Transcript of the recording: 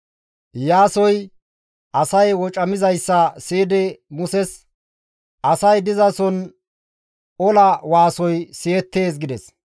Iyaasoy asay wocamizayssa siyidi Muses, «Asay dizason ola waasoy siyettees» gides.